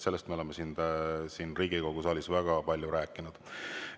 Sellest me oleme siin Riigikogu saalis väga palju rääkinud.